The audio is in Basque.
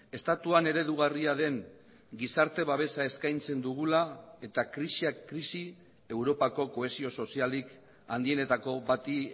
estatuan eredugarria den gizarte babesa eskaintzen dugula eta krisiak krisi europako kohesio sozialik handienetako bati